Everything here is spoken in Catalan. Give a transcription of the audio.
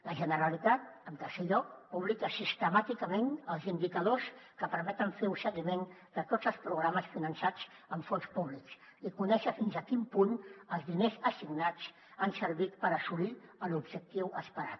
la generalitat en tercer lloc publica sistemàticament els indicadors que permeten fer un seguiment de tots els programes finançats amb fons públics i conèixer fins a quin punt els diners assignats han servit per assolir l’objectiu esperat